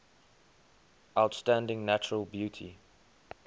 outstanding natural beauty